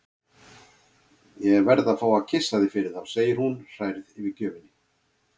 Ég verð að fá að kyssa þig fyrir þá, segir hún hrærð yfir gjöfinni.